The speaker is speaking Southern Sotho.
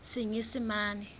senyesemane